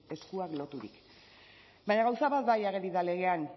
eskuak loturik baina gauza bat bai ageri da legean